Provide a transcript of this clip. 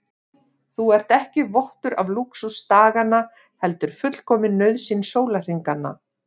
Þú ert ekki vottur af lúxus daganna heldur fullkomin nauðsyn sólarhringanna.